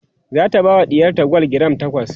zata bawa ɗiyarta gwal giram takwas